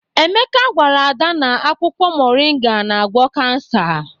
Emeka gwara Ada na akwụkwọ moringa na-agwọ kansa.